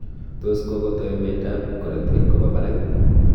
toos kogo kotoi mianda ap korotik kopa parak